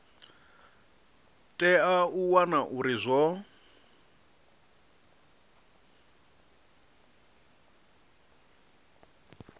tea u wana uri zwo